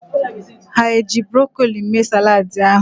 Ha eji brokoli mee saladị ahụ?